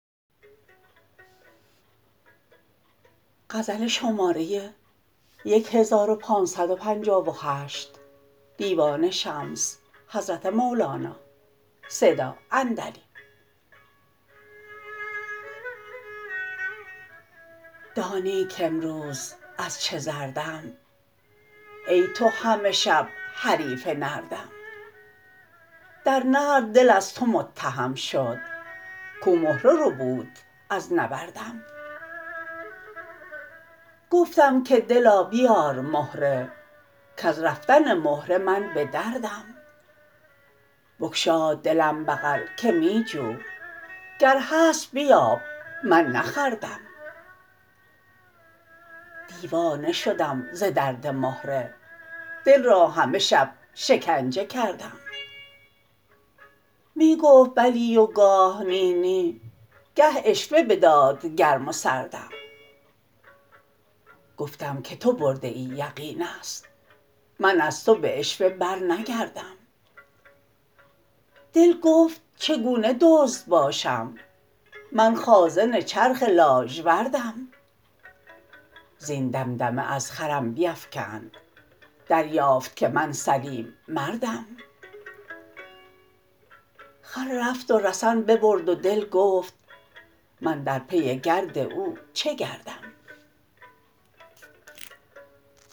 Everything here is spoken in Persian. دانی کامروز از چه زردم ای تو همه شب حریف نردم در نرد دل از تو متهم شد کو مهره ربود از نبردم گفتم که دلا بیار مهره کز رفتن مهره من به دردم بگشاد دلم بغل که می جو گر هست بیاب من نخوردم دیوانه شدم ز درد مهره دل را همه شب شکنجه کردم می گفت بلی و گاه نی نی گه عشوه بداد گرم و سردم گفتم که تو برده ای یقین است من از تو به عشوه برنگردم دل گفت چگونه دزد باشم من خازن چرخ لاژوردم زین دمدمه از خرم بیفکند دریافت که من سلیم مردم خر رفت و رسن ببرد و دل گفت من در پی گرد او چه گردم